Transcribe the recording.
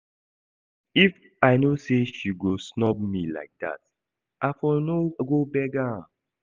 If I know say she go snub me like that I for no go beg am